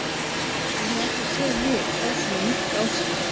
Ég hef aldrei séð lið fá svona mörk á sig.